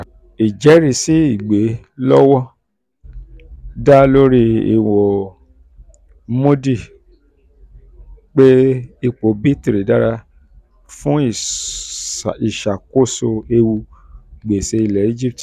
ijẹrisi igbelewọn igbelewọn da lori iwo moody pé ipò b three dára fun ìṣàkóso ewu gbèsè ilẹ̀ ẹgypt